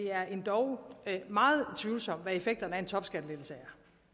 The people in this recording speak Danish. endog er meget tvivlsomt hvad effekterne af en topskattelettelse er